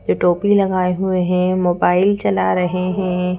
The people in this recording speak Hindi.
जो टोपी लगाए हुए हैं मोबाइल चला रहे हैं।